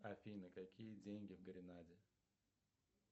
афина какие деньги в гренаде